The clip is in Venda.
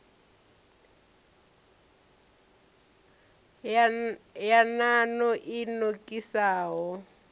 ya nan o i nokisaho